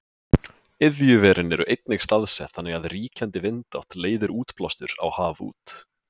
iðjuverin eru einnig staðsett þannig að ríkjandi vindátt leiðir útblástur á haf út